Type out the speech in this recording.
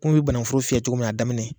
Kun bɛ banankuforo fiyɛ cogo min na a daminɛ